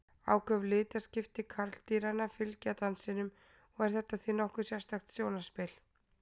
Áköf litaskipti karldýranna fylgja dansinum og er þetta því nokkuð sérstakt sjónarspil.